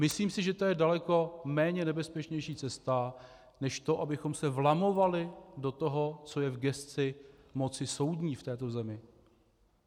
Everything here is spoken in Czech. Myslím si, že to je daleko méně nebezpečná cesta než to, abychom se vlamovali do toho, co je v gesci moci soudní v této zemi.